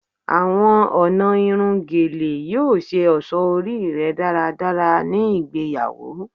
Awọn ọna irun Gele yoo ṣe ọṣọ ori rẹ daradara ni igbeyawo